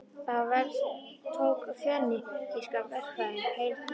Það verk tók fönikíska verkfræðinga heil þrjú ár.